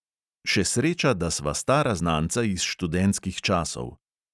Še sreča, da sva stara znanca iz študentskih časov.